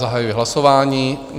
Zahajuji hlasování.